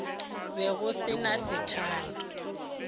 be go se na sethala